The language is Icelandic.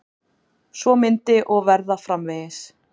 Svo myndi og verða framvegis.